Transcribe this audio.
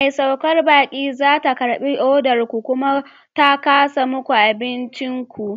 Mai saukar baƙi za ta karɓi odar ku, kuma ta kasa muku abincin ku.